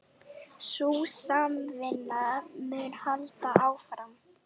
Sú samvinna mun halda áfram